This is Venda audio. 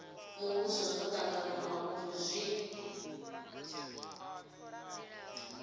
muvhuso zwo tanganywa uri zwi